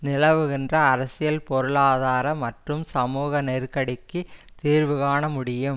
நிலவுகின்ற அரசியல் பொருளாதார மற்றும் சமூக நெருக்கடிக்கு தீர்வுகாண முடியும்